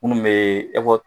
Minnu bɛ